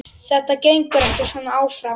Þetta gengur ekki svona áfram.